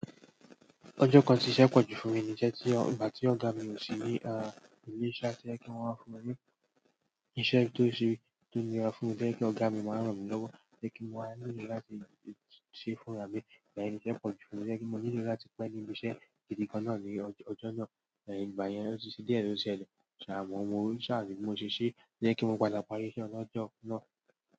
Ọjọ́ kan tí iṣẹ́ pọ̀jù fún mi ní íṣẹ́ tí ìgbà tí ọ̀gá mi o sí ni, a ìlé ìṣe tí ẹ kí wọn wa fún mi ni. Iṣẹ́ tó ṣe, tó nira fún mi tó jẹ́ pé ọ̀gá mi máa ń ràn mí lọ́wọ́, jẹ́ kí n wá nílò láti ṣe fún ọ̀gá mi, ìgbà yẹn ni iṣẹ́ pọ̀ jù fún mi tó jẹ́ pé mo nílò láti pẹ́ dé ibi iṣẹ́ gidi gan-an náà ní ọjọ́ náà. Ẹ̀ ìgbà yẹn ó ti ṣedíẹ̀tóti ṣẹlẹ̀. Àmọ́, mo rí ṣáàjú tí mo ṣe ṣí jẹ́ kí mo padà parí iṣẹ́ ọlọ́jọ́ náà.